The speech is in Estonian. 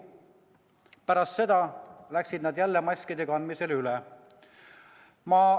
Pärast seda läksid nad jälle maski kandmisele üle.